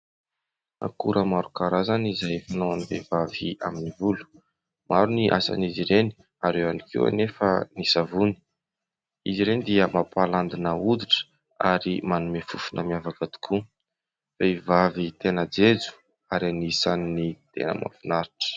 Akora maro karazana izay fanao ny vehivavy amin'ny volo. Maro ny asan'izy ireny ary eo any koa anefa ny savony. Izy ireny dia mampahalandina hoditra ary manome fofona miavaka tokoa. Vehivavy tena jejo ary anisan'ny tena mahafinaritra.